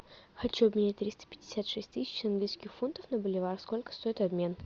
хочу обменять триста пятьдесят шесть тысяч английских фунтов на боливар сколько стоит обмен